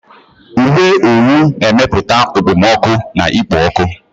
Uwe owu na-emepụta okpomọkụ na ikpo ọkụ.